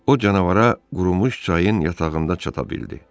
O, canavara qurumuş çayın yatağında çata bildi.